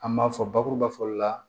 An b'a fɔ bakuruba fɔli la